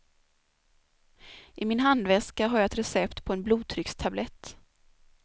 I min handväska har jag ett recept på en blodtryckstablett.